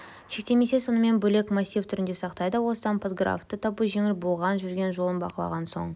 шектемей сонымен бөлек массив түрінде сақтайды осыдан подграфты табу жеңіл болады жүрген жолын бақылаған соң